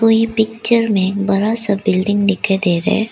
कोई पिक्चर में बड़ा सा बिल्डिंग दिखाई दे रहा है।